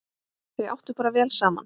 Þau áttu bara vel saman!